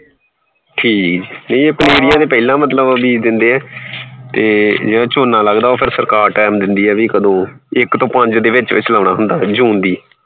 ਠੀਕ, ਨਹੀਂ ਇਹ ਮਤਲਬ ਪਨੀਰੀਆਂ ਤਾਂ ਪਹਿਲਾ ਬੀਜ ਦੇਂਦੇ ਏ ਤੇ ਝੋਨਾ ਲੱਗਦਾ ਫੇਰ ਸਰਕਾਰ time ਦੇਂਦੀ ਏ ਬਈ ਕਦੋਂ ਇਕ ਤੋਂ ਪੰਜ ਦੇ ਵਿਚ ਵਿਚ June ਦੀ